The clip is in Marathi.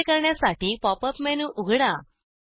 असे करण्यासाठी पॉप अप मेनू उघडा